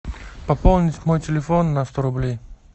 пополнить мой телефон на сто рублей